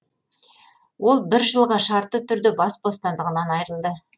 ол бір жылға шартты түрде бас бостандығынан айырылды